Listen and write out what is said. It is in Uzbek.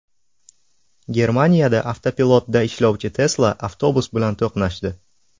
Germaniyada avtopilotda ishlovchi Tesla avtobus bilan to‘qnashdi.